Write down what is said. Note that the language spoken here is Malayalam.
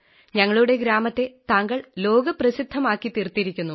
ഞങ്ങളുടെ ഗ്രാമത്തെ താങ്കൾ ലോക പ്രസിദ്ധമാക്കിതീർത്തിരിക്കുന്നു